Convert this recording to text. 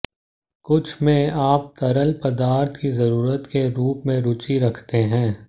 कुछ में आप तरल पदार्थ की जरूरत के रूप में रुचि रखते हैं